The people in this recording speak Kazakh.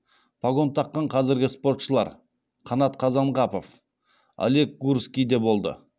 погон таққан қазіргі спортшылар қанат қазанғапов олег гурский де болды